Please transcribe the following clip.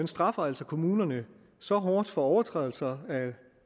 straffer altså kommunerne så hårdt for overtrædelser